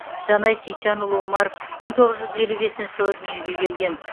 жанай сейітжанұлы омаров мың тоғыз жүз елу бесінші жылы дүниеге келген